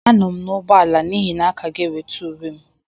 Anọ m n'ụgbọala n'ihi na a ka ga-enweta uwe m.